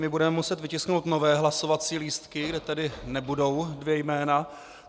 My budeme muset vytisknout nové hlasovací lístky, kde tedy nebudou dvě jména.